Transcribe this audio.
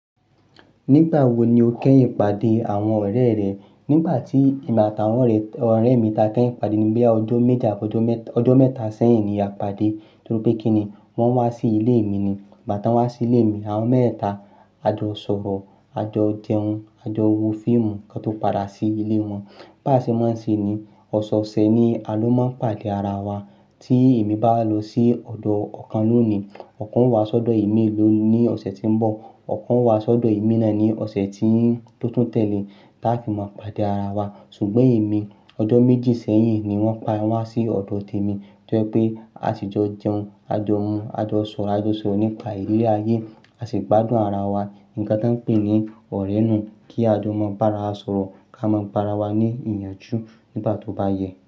Nígbà wo ni o kẹ́ ìpàdé àwọn ọ̀rẹ́ rẹ? Nígbà tí, ìgbà táwọn ọ̀rẹ́ mi táa kẹ́ ìpàdé níbí ọdún méta sẹ́yìn ni a pàdé. Torí pé kíni wọ́n wá sí ilé mi ni. Bí i bà tí wọ́n bá wá sí ilé mi, àwọn mẹ́ta, a jọ sọ̀rọ̀, a jọ jẹun, a jọ wo fíìmù kí wọ́n tó padà sí ilé wọn. Bá ṣe máa ń ṣe ni, ọ̀sọ̀ ọ̀sẹ̀ ni a ló máa ń pàdé ara wa. Tí èmi bá lọ sí ọ̀dọ̀ ọ̀kan lónìí, ọ̀kan ń wá sí ọ̀dọ̀ èmi lónìí ní ọ̀sẹ̀ tí ń bọ̀, ọ̀kan ń wá sí ọ̀dọ̀ èmi náà ní ọ̀sẹ̀ tí ó tún tẹ̀lé, kí a fi máa pàdé ara wa. Ṣùgbọ́n èmi, ọdún méjì sẹ́yìn ni wọ́n pa wa wá sí ọ̀dọ̀ tèmi. Torí pé a sì jọ jẹun, a jọ mu, a jọ sọ̀rọ̀, a jọ sọ̀rọ̀ nípa ìlée ayé, a sì gbádùn ara wa. Ǹkan tí a ń pè ní ọ̀rẹ́ náà kí a tó mọ bá ara sọ̀rọ̀ kí a mọ bá ara wa ní ìyànjú nígbà tó bá yẹ.